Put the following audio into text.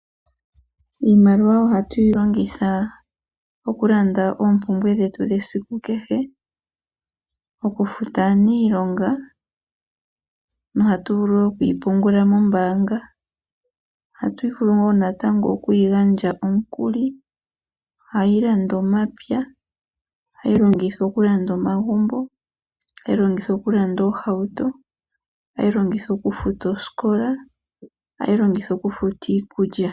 Iimaliwa ohatu yi longitha okulanda oopumbwe dhetu dhesiku kehe, okufuta aaniilonga nohatu vulu wo oku yi pungula mombaanga. Ohatu vulu wo oku yi gandja omukuli. Ohayi landa omapya, ohayi longithwa okulanda omagumbo. Ohayi longithwa okulanda oohauto. Ohayi longithwa okufuta oosikola. Ohayi longithwa okufuta iikulya.